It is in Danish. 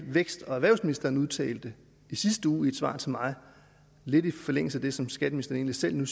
vækstministeren udtalte i sidste uge i et svar til mig lidt i forlængelse af det som skatteministeren